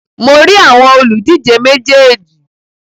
Mo rí àwọn òlùdíje méjèèjì.